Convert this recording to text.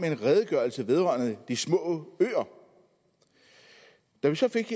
en redegørelse vedrørende de små øer da vi så fik